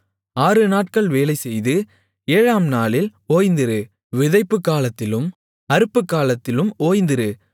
ஆறுநாட்கள் வேலைசெய்து ஏழாம் நாளில் ஓய்ந்திரு விதைப்புக் காலத்திலும் அறுப்புக் காலத்திலும் ஓய்ந்திரு